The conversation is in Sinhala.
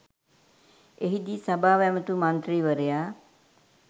එහිදී සභාව ඇමතු මන්ත්‍රීවරයා